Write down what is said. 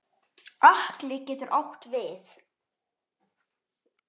Atli getur átt við